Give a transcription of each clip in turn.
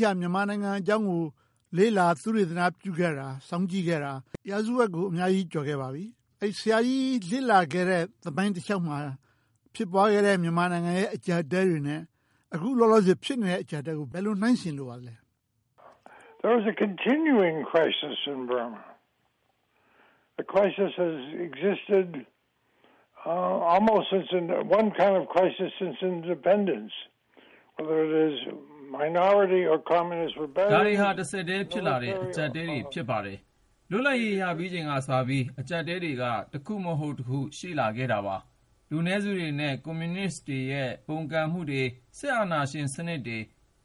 ီးက မြန်မာနိုင်ငံအကြောင်းကို လေ့လာသုတေသနပြုခဲ့တာ၊ စောင့်ကြည့်ခဲ့တာ ရာစုဝက်ကို ကျော်ခဲ့ပါပြီ။ ဆရာကြီးလေ့လာခဲ့တဲ့ သမိုင်းတလျှောက်မှာ ဖြစ်ပွားခဲ့တဲ့ မြန်မာနိုင်ငံရဲ့ အကျပ်အတည်းတွေနဲ့ အခုလောလောဆယ် ဖြစ်ပေါ်နေတဲ့ အကျပ်အတည်းနဲ့ ဘယ်လိုနှိုင်းယှဉ်လိုပါလဲ။ ဖြေ ။ ။ ဒါတွေဟာ တဆက်တည်းဖြစ်ပေါ်လာတဲ့ အကျပ်အတည်းတွေ ဖြစ်ပါတယ်။ လွတ်လပ်ရေး ရပြီးချိန်ကတည်းက အကျပ်အတည်းတွေက တခုမဟုတ်တခု ရှိလာခဲ့တာပါ။ လူနည်းစုတွေနဲ့ ကွန်မြူနစ်တွေရဲ့ ပုန်ကန်မှုတွေ၊ စစ်အာဏာရှင်စနစ်တွေ၊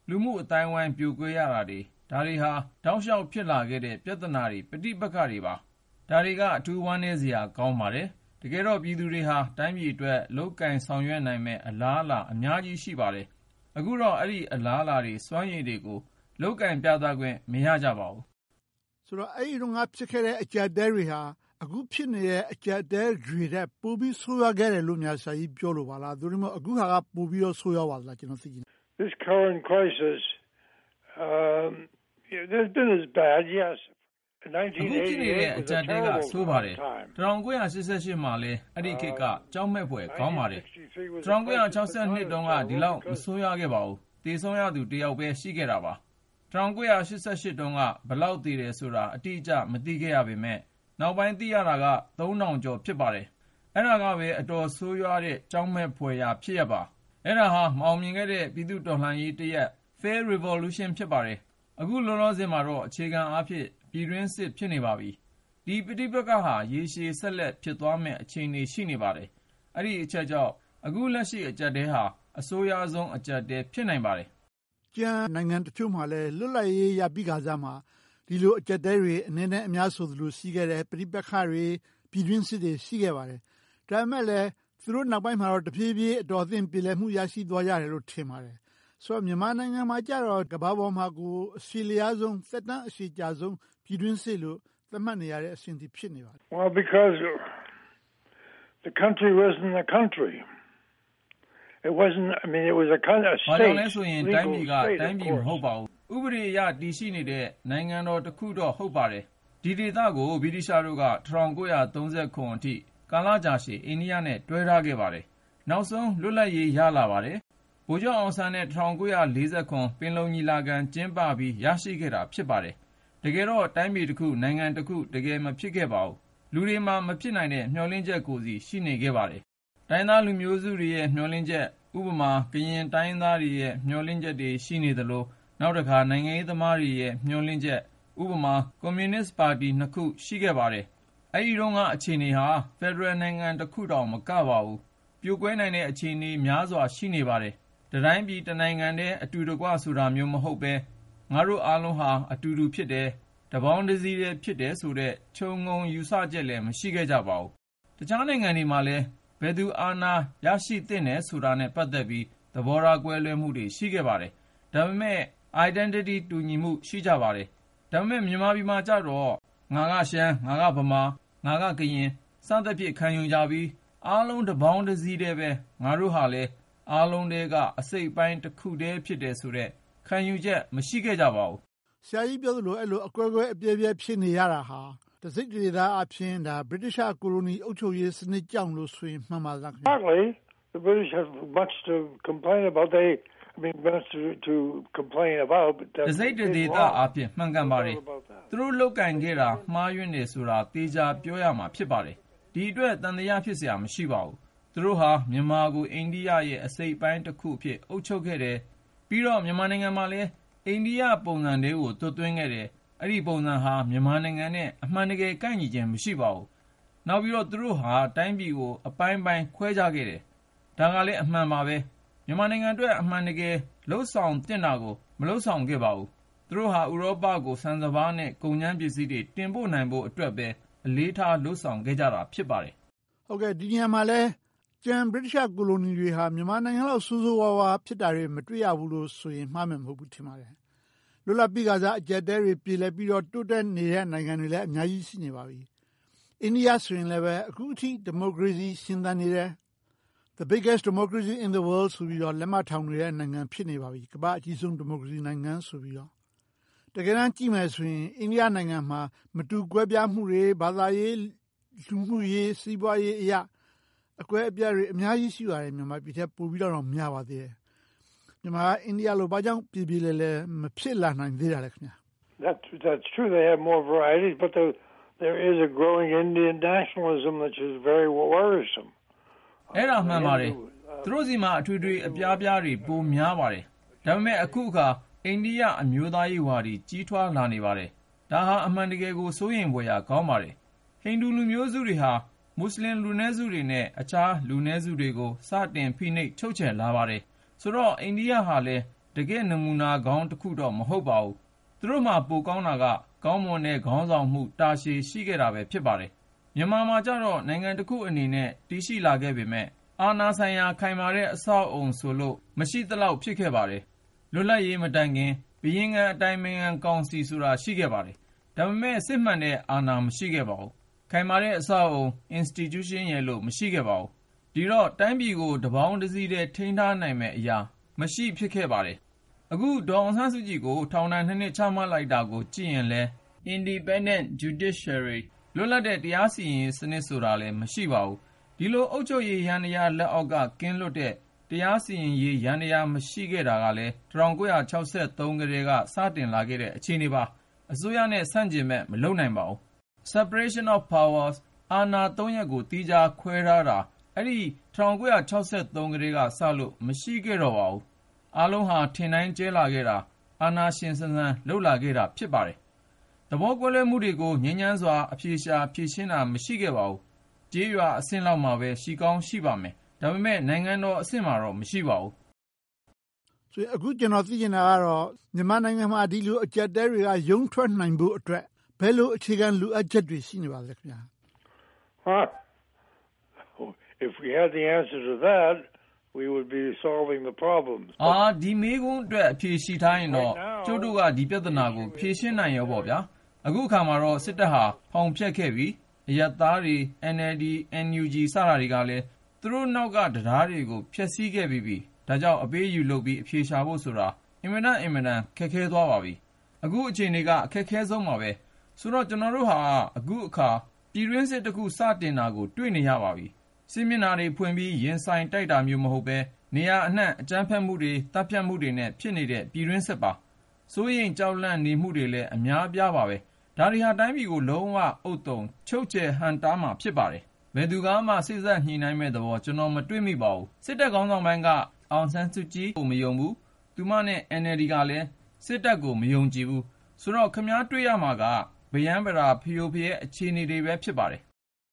လူမှုအသိုင်းအဝိုင်း ပြိုကွဲရတာတွေ ဒါတွေဟာ တောက်လျှောက်ဖြစ်လာခဲ့ရတဲ့ ပြဿနာတွေ၊ ပဋိပက္ခတွေပါ။ ဒါတွေက အထူးဝမ်းနည်းစရာ ကောင်းပါတယ်။ တကယ်တော့ ပြည်သူတွေဟာ တိုင်းပြည်အတွက် လုပ်ကိုင်ဆောင်ရွက်နိုင်မယ့် အလားအလာ အများကြီးရှိပါတယ်။ အခုတော့ အဲဒီအလားအလာ၊ စွမ်းရည်တွေကို လုပ်ကိုင်ပြသခွင့် မရကြပါဘူး။ မေး ။ ။ ဆိုတော့ အဲဒီတုန်းက ဖြစ်ပျက်ခဲ့တဲ့ အကျပ်အတည်းတွေဟာ အခုဖြစ်နေတဲ့ အကျပ်အတည်းတွေထက် ပိုပြီးတော့ ဆိုးဝါးခဲ့တယ်လို့ ဆရာကြီး ပြောလိုတာလား။ သို့တည်းမဟုတ် အခုဟာက ပိုပြီးတော့ ဆိုးရွားပါသလား။ ဖြေ ။ ။ အခုဖြစ်နေတဲ့ အကျပ်အတည်းက ဆိုးပါတယ်။ ၁၉၈၈ မှာလည်း အဲဒီခေတ်က ကြောက်မက်ဖွယ် ကောင်းပါတယ်။ ၁၉၆၂ တုန်းက ဒီလောက် မဆိုးဝါးခဲ့ပါဘူး။ သေဆုံးရသူ တစ်ယောက်ပဲ ရှိခဲ့တာပါ။ ၁၉၈၈ တုန်းက ဘယ်လောက်သေတယ်ဆိုတာ အတိအကျ မသိခဲ့ရပေမယ့်၊ နောက်ပိုင်းသိရတာက သုံးထောင်ကျော် ဖြစ်ပါတယ်။ အဲဒါကပဲ အတော်ဆိုးရွား ကြောက်မက်ဖွယ်ရာ ဖြစ်ရပ်ပါ။ အဲဒါဟာ မအောင်မြင်ခဲ့တဲ့ ပြည်သူ့တော်လှန်ရေးတရပ် Failed Revolution ဖြစ်ပါတယ်။ အခုလောလောဆယ်မှာတော့ အခြေခံအားဖြင့် ပြည်တွင်းစစ် ဖြစ်နေပါပြီ။ ဒီပဋိပက္ခဟာ ရေရှည်ဆက်လက် ဖြစ်သွားမယ့် အခြေအနေ ရှိနေပါတယ်။ အဲဒီအချက်ကြောင့် အခုလက်ရှိ အကျပ်အတည်းဟာ အဆိုးရွားဆုံး အကျပ်အတည်း ဖြစ်နိုင်ပါတယ်။ မေး ။ ။ ကျန်နိုင်ငံတချို့မှာလည်း လွတ်လပ်ရေးရပြီးကစမှာ ဒီလိုအကျပ်အတည်းတွေ အနည်းနဲ့အများဆိုသလို ရှိခဲ့တဲ့ ပဋိပက္ခတွေ၊ ပြည်တွင်းစစ်တွေ ရှိခဲ့ပါတယ်။ ဒါပေမဲ့လဲ သူတို့နောက်ပိုင်းမှာလည်း တဖြည်းဖြည်း အတော်အသင့် ရရှိသွားကြတယ်လို့ ထင်ပါတယ်။ ဆိုတော့ မြန်မာနိုင်ငံမှာကြတော့ ကမ္ဘာပေါ်မှာ အရှည်လျားဆုံး၊ သက်တမ်းအရှည်ကြာဆုံး ပြည်တွင်းစစ်လို့ သတ်မှတ်နေရတဲ့အဆင့် ဖြစ်နေပါပြီ။ ဖြေ ။ ။ ဘာကြောင့်လဲဆိုတော့ တိုင်းပြည်က တိုင်းပြည်မဟုတ်ပါဘူး။ ဥပဒေအရ တည်ရှိနေတဲ့ နိုင်ငံတော်တခုတော့ ဟုတ်ပါတယ်။ ဒီဒေသကို ဗြိတိသျှတို့က ၁၉၃၇ အထိ ကာလကြာရှည် အိန္ဒိယနဲ့ တွဲထားခဲ့ပါတယ်။ နောက်ဆုံးလွတ်လပ်ရေး ရလာပါတယ်။ ဗိုလ်ချုပ်အောင်ဆန်းနဲ့ ၁၉၄၇ ပင်လုံညီလာခံ ကျင်းပပြီး ရရှိခဲ့တာ ဖြစ်ပါတယ်။ တကယ်တော့ တိုင်းပြည်တခု၊ နိုင်ငံတခု၊ တကယ်မဖြစ်ခဲ့ပါဘူး။ လူတွေမှာ မဖြစ်နိုင်တဲ့ မျှော်လင့်ချက်ကိုယ်စီ ရှိနေခဲ့ပါတယ်။ တိုင်းရင်းသားလူမျိုးစုတွေရဲ့ မျှော်လင့်ချက်။ ဥပမာ ကရင်တိုင်းရင်းသားတွေရဲ့ မျှော်လင့်ချက်တွေ ရှိနေသလို၊ နောက်တခါ နိုင်ငံရေးသမားတွေရဲ့ မျှော်လင့်ချက်။ ဥပမာ ကွန်မြူနစ်ပါတီနှစ်ခု ရှိခဲ့ပါတယ်။ အဲဒီတုန်းက အခြေအနေဟာ ဖယ်ဒရယ်နိုင်ငံတခုတောင် မကပါဘူး။ ပြိုကွဲနိုင်တဲ့ အခြေအနေ များစွာရှိနေခဲ့ပါတယ်။ တတိုင်းပြည် တနိုင်ငံတည်း အတူတကွ ဆိုတာမျိုး မဟုတ်ဘဲ၊ ငါတို့အားလုံးဟာ အတူတူ ဖြစ်တယ်။ တပေါင်းတစည်းတည်း ဖြစ်တယ်ဆိုတဲ့ ခြုံငုံယူဆချက်လည်း မရှိခဲ့ပါဘူး။ တခြားနိုင်ငံတွေမှာလည်း ဘယ်သူအာဏာ ရရှိသင့်တာနဲ့ ပတ်သက်ပြီး သဘောထားကွဲလွဲမှုတွေ ရှိခဲ့ပါတယ်။ ဒါပေမဲ့ identity တူညီမှု ရှိကြပါတယ်။ ဒါပေမဲ့ မြန်မာပြည်မှာကြတော့ ငါကရှမ်း၊ ငါကဗမာ၊ ငါကကရင် စသည်ဖြင့် ခံယူကြပြီး အားလုံးတပေါင်းတစည်းတည်းပဲ ငါတို့ဟာလည်း အားလုံးထဲက အစိတ်အပိုင်းတခုတည်း ဖြစ်တယ်ဆိုတဲ့ ခံယူချက် မရှိခဲ့ကြပါဘူး။ မေး ။ ။ ဆရာကြီးပြောသလို အဲဒီလို အကွဲကွဲအပြဲပြဲ ဖြစ်နေခဲ့တာဟာ တစိတ်တဒေသအားဖြင့် ဗြိတိသျှကိုလိုနီ အုပ်ချုပ်ရေးစနစ်ကြောင့်လို့ ပြောရင် မှန်ပါသလား။ ဖြေ ။ ။ တစိတ်တဒေသအားဖြင့် မှန်ကန်ပါတယ်။ သူတို့လုပ်ကိုင်ခဲ့တာ မှားယွင်းတယ်ဆိုတာ သေချာပြောရမှာ ဖြစ်ပါတယ်။ ဒီအတွက် သံသယ ဖြစ်စရာအကြောင်း မရှိပါဘူး။ သူတို့ဟာ မြန်မာကို အိန္ဒိယရဲ့ အစိတ်အပိုင်းတခုအဖြစ် အုပ်ချုပ်ခဲ့တယ်။ ပြီးတော့ မြန်မာနိုင်ငံမှာလည်း အိန္ဒိယပုံစံထဲကို သွတ်သွင်းခဲ့တယ်။ အဲဒီပုံစံဟာ မြန်မာနိုင်ငံနဲ့ အမှန်တကယ် ကိုက်ညီခြင်း မရှိပါဘူး။ နောက်ပြီးတော့ သူတို့ဟာ တိုင်းပြည်ကို အပိုင်းပိုင်း ခွဲခြားခဲ့တယ်။ ဒါကလဲ အမှန်ပါပဲ။ မြန်မာနိုင်ငံအတွက် အမှန်တကယ် လုပ်ဆောင်သင့်တာကို မလုပ်ဆောင်ခဲ့ပါဘူး။ သူတို့ဟာ ဥရောပကို ဆန်စပါးနဲ့ ကုန်ကြမ်းပစ္စည်းတွေ တင်ပို့နိုင်ဖို့အတွက်ပဲ အလေးထားလုပ်ဆောင်ခဲ့ကြတာ ဖြစ်ပါတယ်။ မေး ။ ။ ဒီနေရာမှာလည်း ကျန် ဗြိတိသျှကိုလိုနီတွေဟာ မြန်မာနိုင်ငံလောက် ဆိုးဆိုးဝါးဝါး ဖြစ်တာတွေ မတွေ့ရဘူးလို့ဆိုရင် မှားမယ်မဟုတ်ဘူးလို့ ထင်ပါတယ်။ လွတ်လပ်ပြီခါစ အကျပ်အတည်းတွေ ပြေလည်ပြီးတော့ တိုးတက်နေတဲ့ နိုင်ငံတွေလည်း အများကြီး ရှိနေပါပြီ။ အိန္ဒိယဆိုလဲ အခုထိ ဒီမိုကရေစီ ရှင်သန်နေတယ်။ The biggest democracy in the world ဆိုပြီးတော့ လက်မထောင်နေတဲ့ နိုင်ငံ ဖြစ်နေပါပြီ။ ကမ္ဘာ့အကြီးဆုံး ဒီမိုကရေစီနိုင်ငံ ဆိုပြီးတော့။ တကယ်တမ်း ကြည့်မယ်ဆိုရင် အိန္ဒိယနိုင်ငံမှာ မတူကွဲပြားမှုတွေ၊ ဘာသာရေး၊ လူမှုရေး၊ စီးပွားရေးအရ အကွဲအပြဲတွေ အများကြီးရှိပါတယ်။ မြန်မာနိုင်ငံထက် ပိုပြီးတော့တောင် များပါတယ်။ မြန်မာနိုင်ငံက ဘာကြောင့် အိန္ဒိယလို ပြေပြေလည်လည် မဖြစ်လာနိုင်သေးတာလဲ။ ဖြေ ။ ။ အဲဒါ မှန်ပါတယ်။ သူတို့ဆီမှာ အထွေထွေအပြားပြားတွေ ပိုများပါတယ်။ ဒါပေမဲ့ အခုအခါ အိန္ဒိယ အမျိုးသားရေးဝါဒီ ကြီးထွားလာနေပါတယ်။ ဒါဟာ အမှန်တကယ် စိုးရိမ်ဖွယ်ရာ ကောင်းပါတယ်။ ဟိန္ဒူးလူမျိုးစုတွေဟာ မူစလင်လူနည်းစုတွေနဲ့ အခြားလူနည်းစုတွေကို စတင်ဖိနှိပ်ချုပ်ချယ်လာပါတယ်။ ဆိုတော့ အိန္ဒိယဟာလည်း တကယ့်နမူနာကောင်းတော့ မဟုတ်ပါဘူး။ သူတို့မှာ ပိုကောင်းတာကတော့ ကောင်းမွန်တဲ့ခေါင်းဆောင်မှု တာရှည်ရှိခဲ့တာပဲ ဖြစ်ပါတယ်။ မြန်မာမှာကြတော့ နိုင်ငံတခုအနေနဲ့ တည်ရှိလာခဲ့ပေမယ့် အာဏာဆိုင်ရာ ခိုင်မာတဲ့ အဆောက်အအုံဆိုလို့ မရှိသလောက် ဖြစ်ခဲ့ပါတယ်။ လွတ်လပ်ရေးမတိုင်မီ ဘုရင်ခံအတိုင်ပင်ခံကောင်စီဆိုတာ ရှိခဲ့ပါတယ်။ ဒါပေမဲ့ စစ်မှန်တဲ့အာဏာ မရှိခဲ့ပါဘူး။ ခိုင်မာတဲ့အဆောက်အအုံ institution ဆိုပြီး မရှိခဲ့ပါဘူး။ ဒီတော့ တိုင်းပြည်ကို တပေါင်းတစည်းထဲ ထိန်းထားနိုင်တဲ့အရာ မရှိ၊ ဖြစ်ခဲ့ပါတယ်။ အခု ဒေါ်အောင်ဆန်းစုကြည်ကို ထောင်ဒဏ် နှစ် ချမှတ်လိုက်တာကိုကြည့်ရင်လည်း Independent Judiciary လွတ်လပ်တဲ့ တရားစီရင်ရေးစနစ် ဆိုတာလည်း မရှိပါဘူး။ ဒီလို အုပ်ချုပ်ရေးယန္တရား လက်အောက်က ကင်းလွတ်တဲ့ တရားစီရင်ရေး ယန္တရား မရှိခဲ့တာကလည်း ၁၉၆၃ ကတည်းက စတင်လာခဲ့တဲ့ အခြေအနေပါ။ အစိုးရနဲ့ ဆန့်ကျင်ဘက် မလုပ်နိုင်ခဲ့ပါဘူး။ Separation of Power အာဏာ ရပ်ကို သီးခြားခွဲထားတာ အဲဒီ ၁၉၆၃ ကတည်းကစလို့ မရှိခဲ့ပါဘူး။ အားလုံးဟာ ထင်တိုင်းကြဲလာခဲ့တာ၊ အာဏာရှင်ဆန်ဆန် လုပ်လာခဲ့တာ ဖြစ်ပါတယ်။ သဘောကွဲလွဲမှုတွေကို ငြိမ်းချမ်းစွာ အဖြေရှာ ဖြေရှင်းတာ မရှိခဲ့ပါဘူး။ ကျေးရွာအဆင့်လောက်မှာပဲ ရှိကောင်းရှိပါမယ်။ ဒါပေမဲ့ နိုင်ငံတော်အဆင့်မှာတော့ မရှိပါဘူး။ မေး ။ ။ အခု ကျနော် သိချင်တာကတော့ မြန်မာနိုင်ငံမှာ ဒီလိုအကျပ်အတည်းတွေကနေ ရုန်းထွက်နိုင်ဖို့အတွက် ဘယ်လိုအခြေခံ လိုအပ်ချက်တွေ ရှိနေပါသလဲ။ ဖြေ ။ ။ ဒီမေးခွန်းအတွက် အဖြေရှိထားရင်တော့ ကျုပ်တို့က ဒီပြဿနာကို ဖြေရှင်းနိုင်ပြီးပြီပေါ့။ အခုအခါမှာတော့ စစ်တပ်ဟာ ဖောင်းဖျက်ခဲ့ပြီ။ အရပ်သားတွေ၊ NLD, NUG စတာတွေကလည်း သူတို့နောက်က တံတားတွေကို ဖျက်ဆီးခဲ့ပြီးပြီ။ ဒါကြောင့် အပေးအယူလုပ်ပြီး အဖြေရှာဖို့ဆိုတာ အင်မတန်၊ အင်မတန် ခက်ခဲသွားပါပြီ။ အခုအခြေအနေက အခက်အခဲဆုံးပါပဲ။ ဆိုတော့ ကျနော်တို့ဟာ အခုအခါ ပြည်တွင်းစစ်တခု စတင်နေတာကို တွေ့နေရပါပြီ။ စစ်မျက်နှာတွေဖွင့်ပြီး ရင်ဆိုင်တိုက်ခိုက်တာမျိုး မဟုတ်ဘဲ၊ နေရာအနံှ အကြမ်းဖက်မှုတွေ၊ သတ်ဖြတ်မှုတွေနဲ့ ဖြစ်နေတဲ့ ပြည်တွင်းစစ်ပါ။ စိုးရိမ်ကြောက်လန့်နေမှုတွေလည်း အများအပြားပါပဲ။ ဒါတွေဟာ တိုင်းပြည်ကို လုံးဝဥဿုံ ချုပ်ချယ်ဟန့်တားမှာ ဖြစ်ပါတယ်။ ဘယ်သူကမှ စေ့စပ်ညှိနှိုင်းမယ့်သဘော ကျနော် မတွေ့မိပါဘူး။ စစ်တပ်ခေါင်းဆောင်ပိုင်းက အောင်ဆန်းစုကြည်ကို မယုံဘူး။ သူမနဲ့ NLD ကလည်း စစ်တပ်ကို မယုံကြည်ဘူး။ ဆိုတော့ ခင်များ တွေ့ရမှာက ဗရမ်းဗတာ၊ ဖရိုဖရဲ အခြေအနေတွေပဲ ဖြစ်ပါတယ်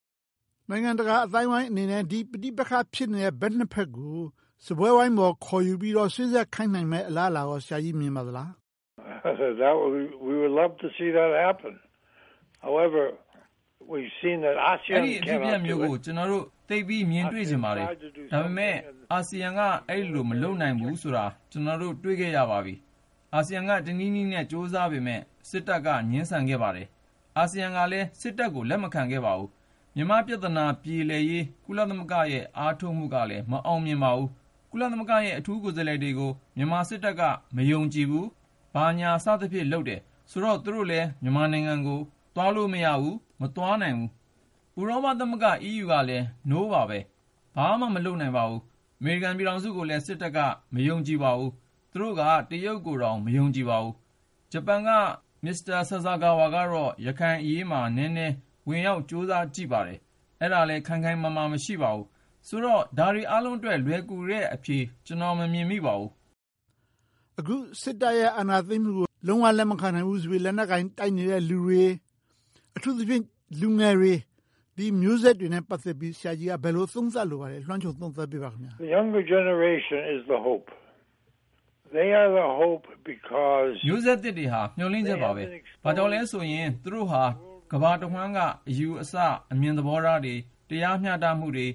။ မေး ။ ။ နိုင်ငံတကာအသိုင်းအဝိုင်းအနေနဲ့ ဒီပဋိပက္ခ ဖြစ်နေတဲ့ ဘက်နှစ်ဘက်ကို စားပွဲဝိုင်းပေါ် ခေါ်ယူပြီးတော့ စေ့စပ်ခိုင်းနိုင်မယ့် အလားအလာကော ဆရာကြီး မြင်ပါသလား။ ဖြေ ။ ။ အဲဒီလို အဖြစ်အပျက်မျိုးကို ကျနော်တို့ သိပ်ပြီးမြင်တွေ့ချင်ပါတယ်။ ဒါပေမဲ့ အာဆီယံက အဲဒီလို မလုပ်နိုင်ဘူးဆိုတာ ကျနော်တို့ တွေ့ခဲ့ရပါပြီ။ အာဆီယံက တနည်းနည်းနဲ့ ကြိုးစားနေခဲ့ပေမယ့်၊ စစ်တပ်က ငြင်းဆန်နေခဲ့ပါတယ်။ အာဆီယံကလည်း စစ်တပ်ကို လက်မခံခဲ့ပါဘူး။ မြန်မာပြဿနာ ပြေလည်ရေး ကုလသမဂ္ဂရဲ့ အားထုတ်မှုကလည်း မအောင်မြင်ပါဘူး။ ကုလသမဂ္ဂရဲ့ အထူးကိုယ်စားလှယ်တွေကို မြန်မာစစ်တပ်က မယုံကြည်ဘူး။ ဘာညာစသဖြင့် လုပ်တယ်။ ဆိုတော့ သူတို့လည်း မြန်မာနိုင်ငံကို သွားလို့မရဘူး။ မသွားနိုင်ဘူး။ ဥရောပသမဂ္ဂ EU ကလည်း ‘No’ ပါပဲ။ ဘာမှမလုပ်နိုင်ဘူး။ အမေရိကန်ပြည်ထောင်စုကိုလည်း စစ်တပ်က မယုံကြည်ပါဘူး။ သူတို့က တရုတ်ကိုတောင် မယုံကြည်ပါဘူး။ ဂျပန်က မစ္စတာဆာဆာကာဝါကတော့ ရခိုင်အရေးမှာ နည်းနည်းဝင်ရောက် ကြိုးစားကြည့်ပါတယ်။ အဲဒါလဲ ခိုင်ခိုင်မာမာ မရှိပါဘူး။ ဆိုတော့ ဒါတွေအားလုံးအတွက် လွယ်ကူတဲ့အဖြေ ကျနော် မမြင်မိပါဘူး။ မေး ။ ။ အခု စစ်တပ်ရဲ့ အာဏာသိမ်းမှုကို လုံးဝလက်မခံနိုင်ဘူးဆိုပြီးတော လက်နက်ကိုင် တိုက်နေတဲ့လူတွေ။ အထူးသဖြင့် လူငယ်တွေ၊ ဒီမျိုးဆက်တွေနဲ့ ပတ်သက်ပြီး ဆရာကြီးက ဘယ်လိုသုံးသပ်လိုပါသလဲ။ လွှမ်းခြုံသုံးသပ်ပေးပါ။ ဖြေ ။ ။ မျိုးဆက်သစ်တွေဟာ မျှော်လင့်ချက်ပါပဲ။ ဘာကြောင့်လဲဆိုရင် သူတို့ဟာ ကမ္ဘာတဝှမ်းက အယူအဆ၊ အမြင်သဘောထားတွေ၊ တရားမျှတမှုတွေ၊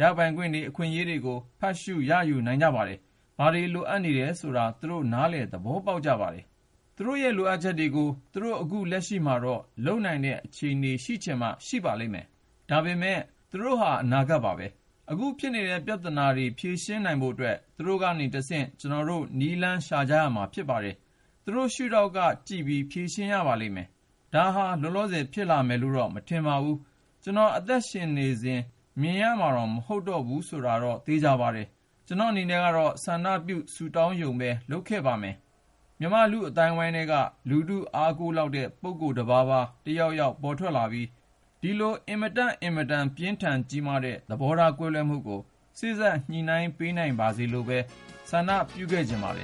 ရပိုင်ခွင့်တွေ၊ အခွင့်အရေးတွေကို ဖတ်ရှုရယူနိုင်ကြပါတယ်။ ဘာတွေလိုအပ်နေတယ်ဆိုတာကို သူတို့ နားလည်သဘောပေါက်ကြပါတယ်။ သူတို့ရဲ့ လိုအပ်ချက်တွေကို သူတို့ အခုလက်ရှိမှာတော့ လုပ်နိုင်တဲ့ အခြေအနေ ရှိနိုင်မှ ရှိပါလိမ့်မယ်။ ဒါပေမဲ့ သူတို့ဟာ အနာဂတ်ပါပဲ။ အခုဖြစ်နေတဲ့ ပြဿနာတွေ ဖြေရှင်းနိုင်ဖို့အတွက် သူတို့ကနေတဆင့် ကျနော်တို့ နည်းလမ်းရှာကြရမှာ ဖြစ်ပါတယ်။ သူတို့ရှုထောင့်ကကြည့်ပြီး ဖြေရှင်းရပါလိမ့်မယ်။ ဒါဟာ လောလောဆယ် ဖြစ်လာမယ့်လိုတော့ မထင်ပါဘူး။ ကျနော် အသက်ရှင်နေစဉ် မြင်ရမှာတောင် မဟုတ်တော့ဘူးဆိုတာတော့ သေချာပါတယ်။ ကျနော့်အနေနဲ့တော့ ဆန္ဒပြု ဆုတောင်းရုံပဲ လုပ်ခဲ့ပါမယ်။ မြန်မာ့လူ့အသိုင်းအဝိုင်းထဲက လူထုအားကိုးလောက်တဲ့ ပုဂ္ဂိုလ်တပါးပါး၊ တယောက်ယောက် ပေါ်ထွက်လာပြီး ဒီလိုအင်မတန့်အင်မတန် ပြင်းထန်ကြီးမားတဲ့ သဘောထားကွဲလွဲမှုကို စေ့စပ်ညှိနှိုင်းပေးနိုင်ပါစေလို့ပဲ ဆန္ဒပြုခဲ့ချင်ပါတယ်